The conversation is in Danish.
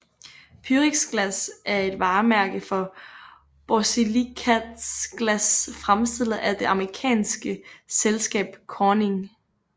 Pyrexglas er et varemærke for borsilikatglas fremstillet af det amerikanske selskab Corning